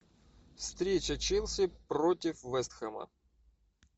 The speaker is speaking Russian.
встреча челси против вест хэма